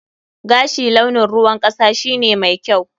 Gashi launin ruwan kasa shine mai kyau.